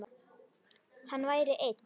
Hann væri einn.